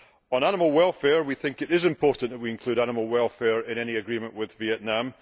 On animal welfare, we think it is important that we include animal welfare in any agreement with Vietnam.